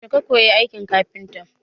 Yaushe ka koyi aikin kafintaci?